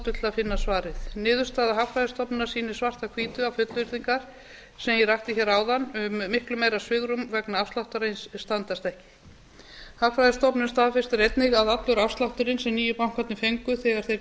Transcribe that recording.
finna svarið niðurstaða hagfræðistofnunar sýnir svart á hvítu að fullyrðingar sem ég rakti áðan um miklu meira svigrúm vegna afsláttarins standast ekki hagfræðistofnun staðfestir einnig að allur afslátturinn sem nýju bankarnir fengu þegar þeir